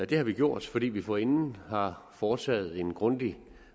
det har vi gjort fordi vi forinden har foretaget en grundig